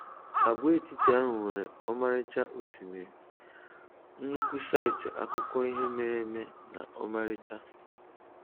Àgwàetiti ahụ nwere ọmarịcha osimiri, nnukwu saịtị akụkọ ihe mere eme na ọmarịcha